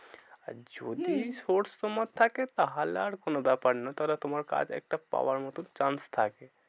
আর যদি হম source তোমার থাকে তাহলে আর কোনো ব্যাপার নয়। তাহলে তোমার কাজ একটা পাওয়ার মতো chance থাকে।